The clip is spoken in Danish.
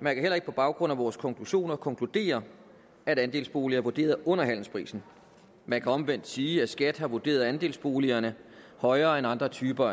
man kan heller ikke på baggrund af vores konklusioner konkludere at andelsboliger er vurderet under handelsprisen man kan omvendt sige at skat har vurderet andelsboligerne højere end andre typer af